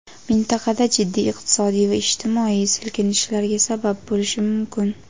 mintaqada jiddiy iqtisodiy va ijtimoiy silkinishlarga sabab bo‘lishi mumkin.